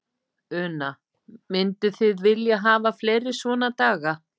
Una: Mynduð þið vilja hafa fleiri svona daga?